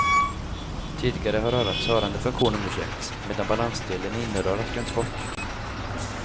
Tidigare har örats hörande funktion undersökts medan balansdelen i innerörat glömts bort.